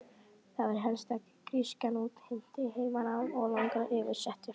Það var helst að grískan útheimti heimanám og langar yfirsetur.